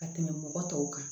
Ka tɛmɛ mɔgɔ tɔw kan